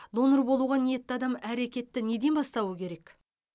донор болуға ниетті адам әрекетті неден бастауы керек